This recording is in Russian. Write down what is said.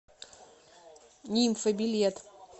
нимфа билет